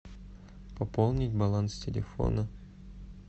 пополни баланс телефона